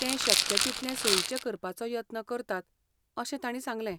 ते शक्य तितले सोयीचें करपाचो यत्न करतात अशें तांणी सांगलें